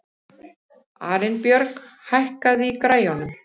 Arinbjörg, hækkaðu í græjunum.